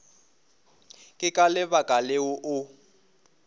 ke ka lebaka leo o